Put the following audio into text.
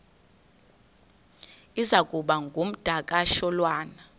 iza kuba ngumdakasholwana